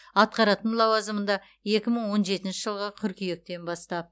атқаратын лауазымында екі мың он жетінші жылғы қыркүйектен бастап